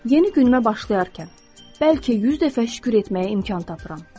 Yeni günümdə başlayarkən bəlkə 100 dəfə şükür etməyə imkan tapıram.